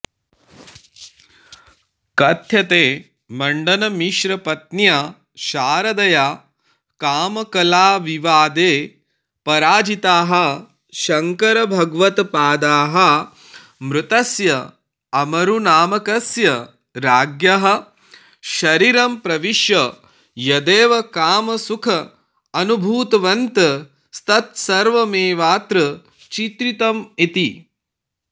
कथ्यते मण्डनमिश्रपत्न्या शारदया कामकलाविवादे पराजिताः शङ्करभगवत्पादाः मृतस्य अमरुनामकस्य राज्ञः शरीरं प्रविश्य यदेव कामसुखमनुभूतवन्तस्तत्सर्वमेवात्र चित्रितमिति